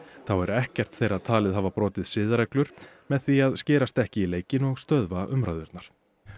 þá er ekkert þeirra talið hafa brotið siðareglur með því að skerast ekki í leikinn og stöðva umræðurnar